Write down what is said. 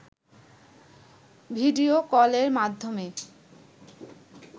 video কলের মাধ্যমে